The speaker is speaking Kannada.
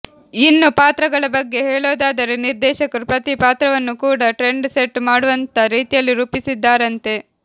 ಇನ್ನು ಪಾತ್ರಗಳ ಬಗ್ಗೆ ಹೇಳೋದಾದರೆ ನಿರ್ದೇಶಕರು ಪ್ರತೀ ಪಾತ್ರವನ್ನೂ ಕೂಡಾ ಟ್ರೆಂಡ್ ಸೆಟ್ ಮಾಡುವಂಥಾ ರೀತಿಯಲ್ಲಿ ರೂಪಿಸಿದ್ದಾರಂತೆ